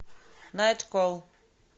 найтколл